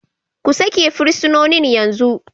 Ku sake fursunonin yanzu!